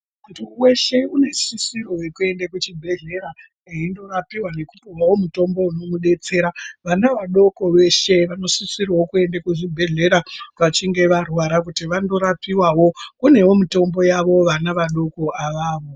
Muntu weshe unosisirwa kuenda kuzvibhedhleya aindorapiwa nawo mutombowo inodetsere, vana vadoko veshe vanosisirwa kuenda kuzvibhedhlera vachinge varwara kuti vandorapiwaowo, kunewo mitombo yavo vana vadoko avavo.